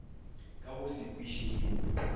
ka go se kwiše yo